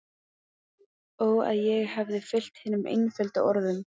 Ó að ég hefði fylgt hinum einföldu orðum